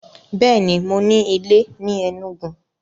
Bẹ́ẹ̀ni, mo ní ilé ni Enugu?